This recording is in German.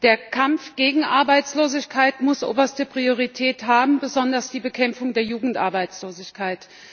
Der Kampf gegen Arbeitslosigkeit muss oberste Priorität haben, besonders die Bekämpfung der Jugendarbeitslosigkeit.